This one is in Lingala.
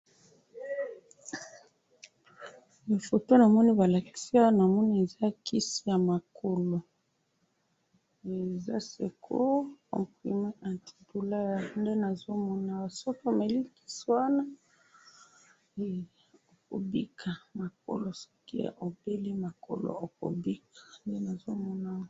awa namoni eza mafuta ya kopakola na nzoto mafuta ya basi nde namoni yango kombo nango ''lait glycederm'' namoni yango mafuta yango eza nase pe namoni bakomi mwan muke aza na basuki ya mwindu pe ba suki wana kitoko pe namoni nakati ya mafuta wana naba langi ya pembe.